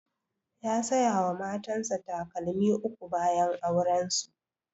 Ya saya wa matan sa takalmi uku bayan auren su